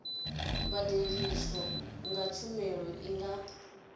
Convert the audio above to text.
badeliswaho kha tshumelo i nga